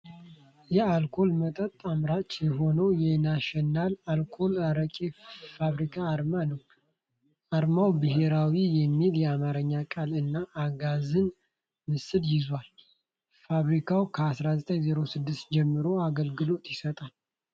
የአልኮል መጠጥ አምራች የሆነው የናሽናል አልኮልና አረቄ ፋብሪካ አርማ ነው። አርማው "ብሔራዊ" የሚል የአማርኛ ቃል እና የአጋዘን ምስል ይዟል። ፋብሪካው ከ1906 ጀምሮ አገልግሎት ይሰጣል።